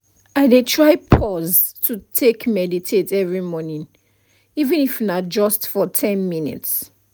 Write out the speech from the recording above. i dey try pause to take meditate every morning even if na just for ten minutes